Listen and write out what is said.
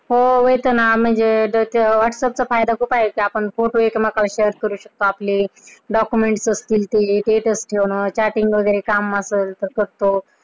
हो येत ना Whatsapp चा फायदा कुठं आहे त्यात Photo Share करू शकतो आपले, document ठेऊ शकतो. आपली Status ठेवणं, Chatting वगैरे काम असेल तर करतो.